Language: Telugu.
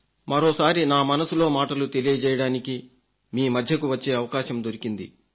మరోసారి నా మనసులో మాటలు తెలియజేయడానికి మీ మధ్యకు వచ్చే అవకాశం దొరికింది